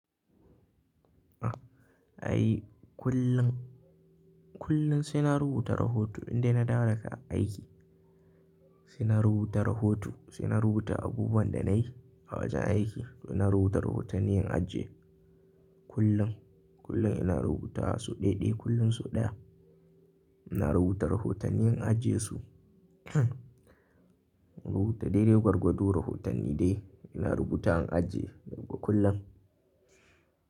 Ai kullum, kullum sai na rubuta rahoto indai na dawo daga aiki. Sai na rubuta rahoto, sai na rubuta abubuwan da na yi a wajen aiki. To na rubuta rahotanni in ajiye kullum. Kullum ina rubuta so ɗaiɗai, kullum sau ɗaya. Ina rubuta rahotanni in ajiye su, rubuta daidai gwargwado rahotanni dai ina rubuta an ajiye, ga kullum.